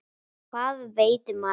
Hvað veit maður?